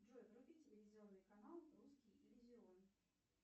джой вруби телевизионный канал русский иллюзион